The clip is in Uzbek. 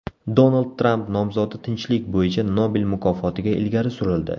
Donald Tramp nomzodi tinchlik bo‘yicha Nobel mukofotiga ilgari surildi.